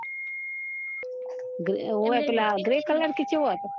ઓવે પીલા grey colour કે ચેવો હતો